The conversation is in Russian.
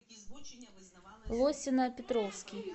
лосино петровский